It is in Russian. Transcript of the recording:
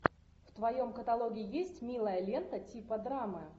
в твоем каталоге есть милая лента типа драмы